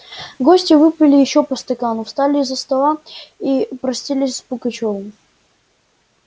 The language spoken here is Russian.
гости выпили ещё по стакану встали из-за стола и простились с пугачёвым